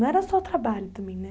Não era só trabalho também, né?